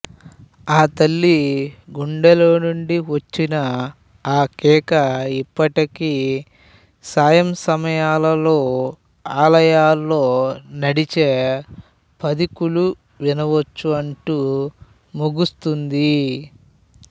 ఆతల్లి గుండెలోనుండి వచ్చిన అకేక ఇప్పటికి సాయంసమయాలలో అలోయలో నడిచే పధికులు వినవచ్చు అంటూ ముగుస్తుంది